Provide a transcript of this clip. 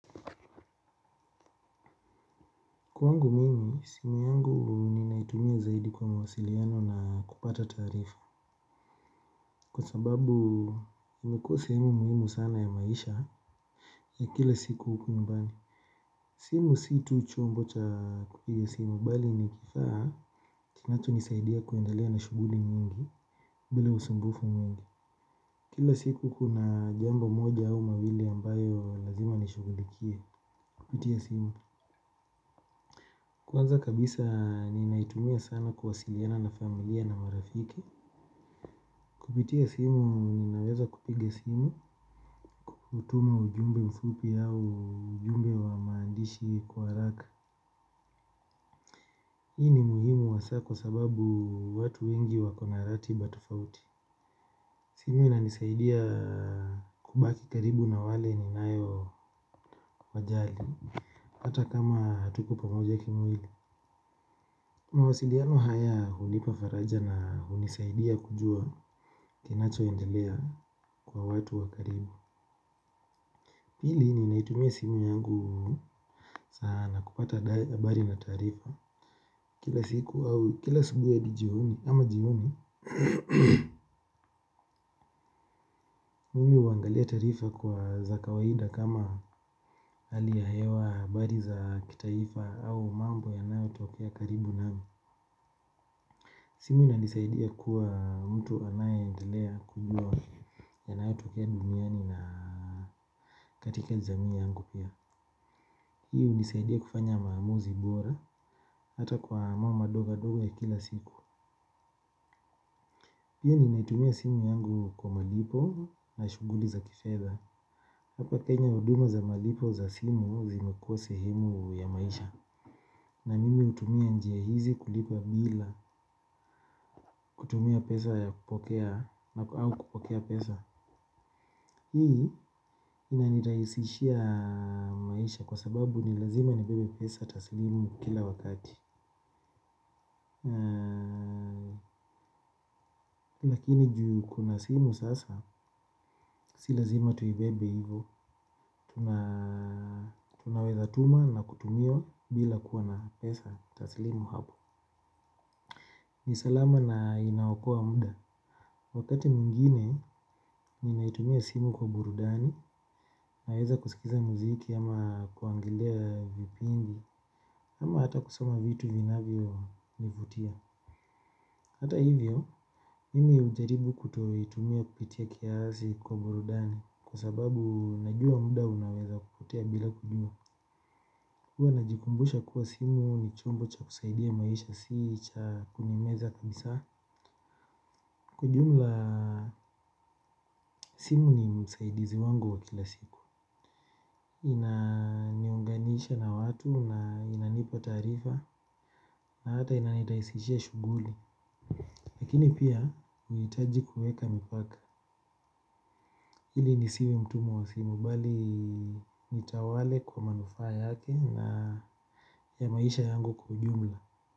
Kwa wangu mimi, simu yangu ninaitumia zaidi kwa mawasiliano na kupata taarifa. Kwa sababu imekuwa simu muhimu sana ya maisha ya kila siku huku nyumbani. Simu si tu chombo cha kupiga simu bali ni kifaa kinachonisaidia kuendalea na shughuli nyingi bila usumbufu mwingi. Kila siku kuna jambo moja au mawili ambayo lazima nishughulikie kupitia simu. Kwanza kabisa ninaitumia sana kuwasiliana na familia na marafiki. Kupitia simu, ninaweza kupiga simu, kutuma ujumbe mfupi au ujumbe wa maandishi kwa haraka. Hii ni muhimu wa saa kwa sababu watu wengi wako na ratiba tofauti. Simu inanisaidia kubaki karibu na wale niniwao wajali, hata kama hatuko pamoja kimwili. Mawasiliano haya hunipa faraja na hunisaidia kujua kinachoendelea kwa watu wakaribu. Pili ni naitumia simu yangu sana kupata habari za taarifa. Kila siku au kila asubuhi hadi jioni au jioni. Mimi huangalia taarifa za kawaida kama hali ya hewa habari za kitaifa au mambo yanayo tokea karibu nami. Simu inanisaidia kuwa mtu anaye endelea kujua yanayo tokea duniani na katika jamii yangu pia. Hii unisaidia kufanya maamuzi bora. Hata kwa mambo madogo madogo ya kila siku pia ninaitumia simu yangu kwa malipo na shughuli za kifedha. Hapa kenya huduma za malipo za simu zimekuwa sehemu ya maisha. Na mimi hutumia njia hizi kulipa bila kutumia pesa ya kupokea au kupokea pesa. Hii inanirahisishia maisha kwa sababu nilazima nibebe pesa taslimu kila wakati. Lakini juu kuna simu sasa. Si lazima tuibebe hivo. Tunaweza tuma na kutumiwa bila kuwa na pesa taslimu hapo. Nisalama na inaokoa muda. Wakati mwingine ninaitumia simu kwa burudani. Naweza kusikiliza muziki ama kuangilia vipindi. Ama hata kusoma vitu vinavyo nivutia. Hata hivyo, mimi hujaribu kutumia tumia pitia ya kiasi kwa burudani. Kwa sababu najua muda unaweza kupotea bila kujua. Kwa najikumbusha kuwa simu ni chombo cha kusaidia maisha si cha kunimeza kabisa kwa jumla simu ni msaidizi wangu wa kila siku inaniunganisha na watu na inanipa taarifa na hata inanirahisishia shughuli. Lakini pia nahitaji kuweka mipaka. Hili nisiwe mtu mwasimu bali nitawale kwa manufaa yake na ya maisha yangu kwa ujumla.